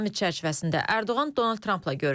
Sammit çərçivəsində Ərdoğan Donald Trampla görüşüb.